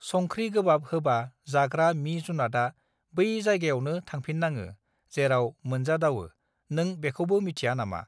संख्रि गोबाब होबा जाग्रा मि जुनातआ बै जायगायावनो थांफिननाङो जेराव मोनजा दाववो नों बेखौबो मिथिया नामा